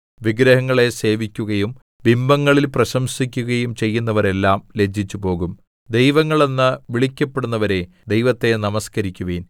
വിഗ്രഹങ്ങളെ സേവിക്കുകയും ബിംബങ്ങളിൽ പ്രശംസിക്കുകയും ചെയ്യുന്നവരെല്ലാം ലജ്ജിച്ചുപോകും ദൈവങ്ങള്‍ എന്ന് വിളിക്കപ്പെടുന്നവരേ ദൈവത്തെ നമസ്കരിക്കുവിൻ